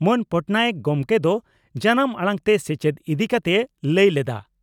ᱢᱟᱹᱱ ᱯᱚᱴᱱᱟᱭᱮᱠ ᱜᱚᱢᱠᱮ ᱫᱚ ᱡᱟᱱᱟᱢ ᱟᱲᱟᱝ ᱛᱮ ᱥᱮᱪᱮᱫ ᱤᱫᱤ ᱠᱟᱛᱮᱭ ᱞᱟᱹᱭ ᱞᱮᱫᱼᱟ ᱾